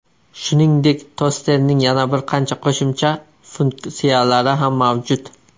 Shuningdek, tosterning yana bir qancha qo‘shimcha funksiyalari ham mavjud.